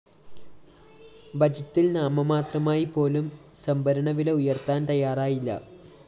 ബജറ്റില്‍ നാമമാത്രമായി പോലും സംഭരണ വില ഉയര്‍ത്താന്‍ തയാറായില്ല